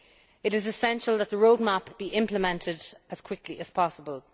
It is essential that the roadmap be implemented as quickly as possible.